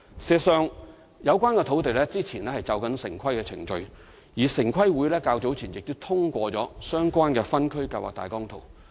事實上，有關土地先前正進行城市規劃程序，而城市規劃委員會早前亦通過了相關的分區計劃大綱圖。